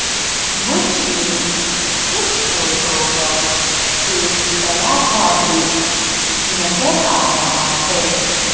मुझे इस फोटो पर एक बड़ा सा ब्रिज नजर आ रहा है।